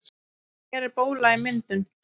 Hér er bóla í myndun.